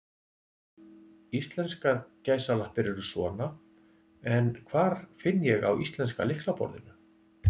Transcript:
Íslenskar gæsalappir eru svona, en hvar finn ég á íslenska lyklaborðinu?